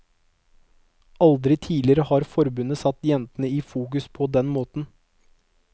Aldri tidligere har forbundet satt jentene i fokus på den måten.